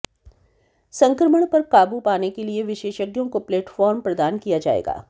संक्रमण पर काबू पाने के लिए विशेषज्ञों को प्लेटफार्म प्रदान किया जाएगा